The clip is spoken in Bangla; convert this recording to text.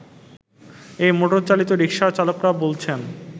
এই মোটরচালিত রিক্সার চালকরা বলছেন